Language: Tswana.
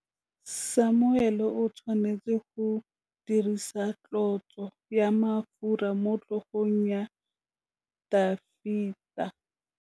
Samuele o tshwanetse go dirisa tlotsô ya mafura motlhôgong ya Dafita.